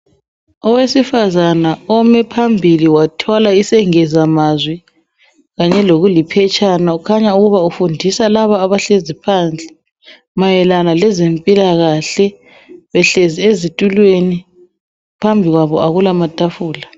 Owesifazana omephambili wathwala isengezamazwi, kanye lokuliphetshana, kukhanya ukuba ufundisa laba abahlezi phansi, mayelana lezempilakahle. Behlezi ezitulweni, phambi kwabo akulamatafula.